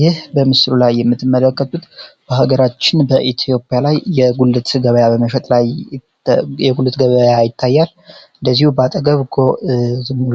ይህ በምስሉ ላይ የምትመለከቱት በሀገራችን በኢትዮጵያ ላይ የጉልት ገበያ በመሸጥ ላይ የጉልት ገበያ ይታያል። እደዚሁ በአጠገብ